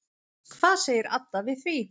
Hvað segir Adda við því?